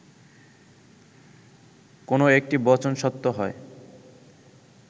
কোন একটি বচন সত্য হয়